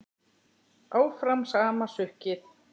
Áfram sama sukkið?